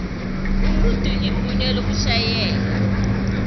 umuntu igunya lokushayela